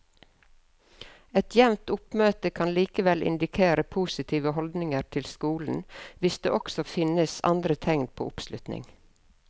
Et jevnt oppmøte kan likevel indikere positive holdninger til skolen hvis det også finnes andre tegn på oppslutning.